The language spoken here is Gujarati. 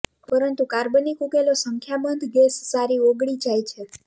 પરંતુ કાર્બનિક ઉકેલો સંખ્યાબંધ ગેસ સારી ઓગળી જાય છે